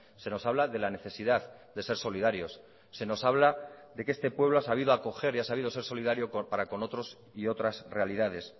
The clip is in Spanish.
se nos habla de la necesidad de ser solidarios se nos habla de que este pueblo ha sabido acoger y ha sabido ser solidario para con otros y otras realidades